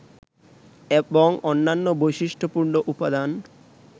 এবং অন্যান্য বৈশিষ্টপূর্ণ উপাদান